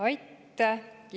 Aitäh!